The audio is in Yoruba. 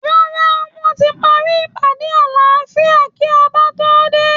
Rárá, wọ́n ti parí ìpàdé àláfíà kí Ọba tó dé